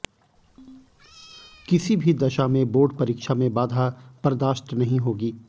किसी भी दशा में बोर्ड परीक्षा में बाधा बर्दाश्त नहीं होगी